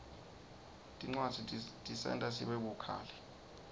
tincwadzi tisenta sibe bukhali